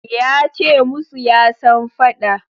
Ya ce musu ya san fada